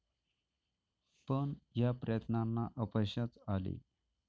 पण या प्रयत्नांना अपयशच आले.